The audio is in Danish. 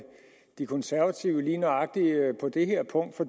de konservative lige nøjagtig på det her punkt for